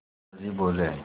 दादाजी बोले